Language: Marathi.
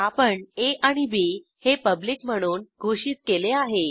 आपण आ आणि बी हे पब्लिक म्हणून घोषित केले आहे